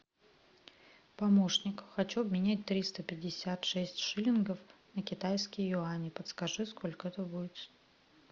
помощник хочу обменять триста пятьдесят шесть шиллингов на китайские юани подскажи сколько это будет